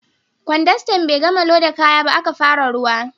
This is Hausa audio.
Kwandastan bai gama loda kaya ba, aka fara ruwa